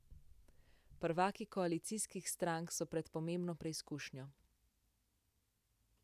Prvaki koalicijskih strank so pred pomembno preizkušnjo.